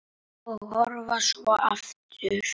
Og horfa svo aftur.